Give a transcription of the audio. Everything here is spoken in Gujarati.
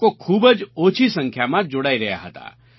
લોકો ખૂબ જ ઓછી સંખ્યામાં જોડાઈ રહ્યા હતા